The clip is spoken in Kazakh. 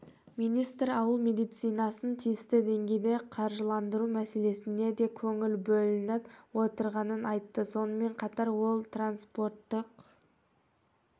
министр ауыл медицинасын тиісті деңгейде қаржыландыру мәселесіне де көңіл бөлініп отырғанын айтты сонымен қатар ол транспорттық